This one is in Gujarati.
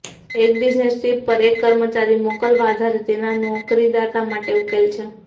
એક બિઝનેસ ટ્રીપ પર એક કર્મચારી મોકલવા આધારે તેના નોકરીદાતા માટે ઉકેલ છે